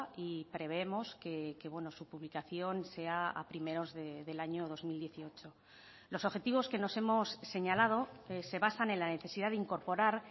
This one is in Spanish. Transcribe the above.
y prevemos que su publicación sea a primeros del año dos mil dieciocho los objetivos que nos hemos señalado se basan en la necesidad de incorporar